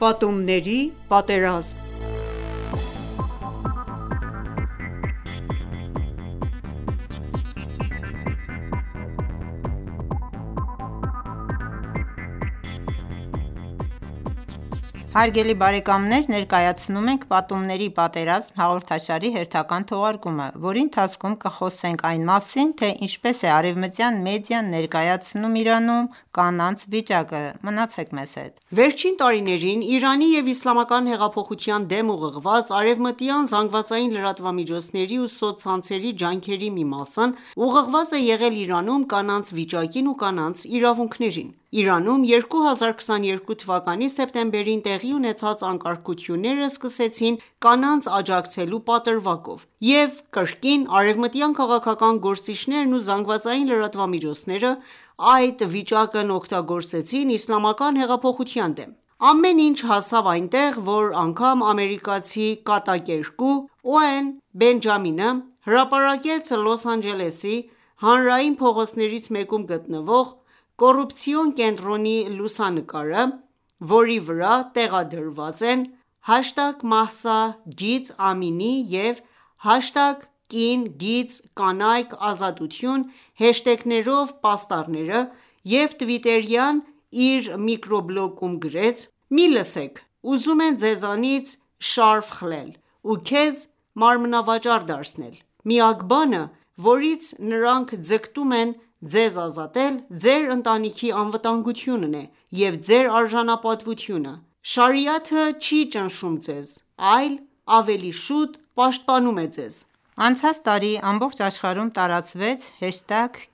Պատումների պատերազմ (7) Հարգելի բարեկամներ, ներկայացնում ենք «Պատումների (Նարատիվների) պատերազմ» հաղորդաշարի հերթական թողարկումը, որի ընթացքում կխոսենք այն մասին, թե ինչպես է արևմտյան մեդիան ներկայացնում Իրանում կանանց վիճակը: Մնացեք մեզ հետ: Վերջին տարիներին Իրանի և իսլամական հեղափոխության դեմ ուղղված արևմտյան ԶԼՄ-ների ու սոցցանցերի ջանքերի մի մասն ուղղված է եղել Իրանում կանանց վիճակին ու նրանց իրավունքներին: Իրանում 2022 թ․ սեպտեմբերին տեղի ունեցած անկարգությունները սկսվեցին կանանց աջակցելու պատրվակով: Եվ կրկին արևմտյան քաղաքական գործիչներն ու ԶԼՄ-ներն այդ վիճակն օգտագործեցին իսլամական հեղափոխության դեմ: Ամեն ինչ հասավ այնտեղ որ անգամ ամերիկացի կատակերգու Օուեն Բենջամինը հրապարակեց Լոս Անջելեսի հանրային փողոցներից մեկում գտնվող կոռուպցիոն կենտրոնի լուսանկարը, որի վրա տեղադրված են #Mahsa-Amini և #կին-կյանք-ազատություն հեշթեգներով պաստառները և թվիթերյան իր միկրոբլոգում գրեց. «Մի լսեք: Ուզում են ձեզնից շարֆը խլել, ու քեզ մարմնավաճառ դարձնել: Միակ բանը, որից նրանք ձգտում են ձեզ ազատել, ձեր ընտանիքի անվտանգությունն է և ձեր արժանապատվությունը: Շարիաթը չի ճնշում ձեզ, այլ ավելի շուտ պաշտպանում է ձեզ»: Անցած տարի ամբողջ աշխարհում տարածվեց